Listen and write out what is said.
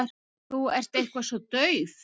Þú ert eitthvað svo dauf.